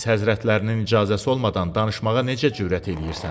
Rəis həzrətlərinin icazəsi olmadan danışmağa necə cürət eləyirsən?